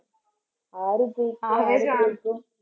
ആര് തോൽക്കും ആര് ജയിക്കും